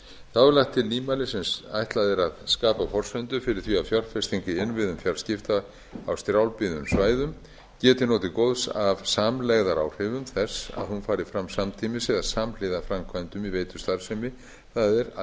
þá er lagt til nýmæli sem ætlað er að skapa forsendur fyrir því að fjárfesting í innviðum fjarskipta á strjálbýlum svæðum geti notið góðs af samlegðaráhrifum þess að hún fari fram samtímis eða samhliða framkvæmdum í veitustarfsemi það er að